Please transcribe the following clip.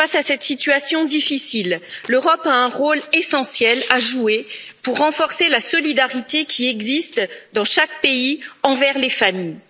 Face à cette situation difficile, l'Europe a un rôle essentiel à jouer pour renforcer la solidarité qui existe, dans chaque pays, envers les familles.